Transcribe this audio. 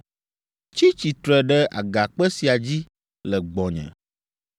Tsi tsitre ɖe agakpe sia dzi le gbɔnye.